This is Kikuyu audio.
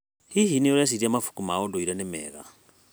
Hihi, nĩ ũreciria mabuku ma ndũire nĩ mega?